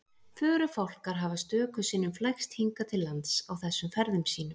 Förufálkar hafa stöku sinnum flækst hingað til lands á þessum ferðum sínum.